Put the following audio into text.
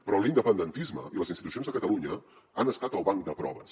però l’independentisme i les institucions de catalunya han estat el banc de proves